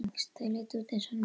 Þau litu út eins og ný.